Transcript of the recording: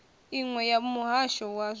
iṅwe ya muhasho wa zwa